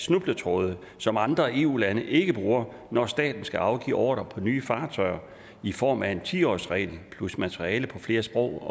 snubletråde som andre eu lande ikke bruger når staten skal afgive ordre på nye fartøjer i form af en ti årsregel plus materiale på flere sprog